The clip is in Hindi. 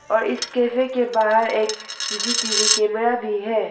और इस कैफ के बाहर एक C C T V camera भी है।